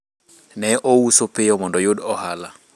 ne ouso piyo mondo oyud ohala